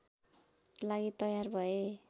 लागि तयार भए